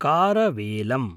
कारवेलम्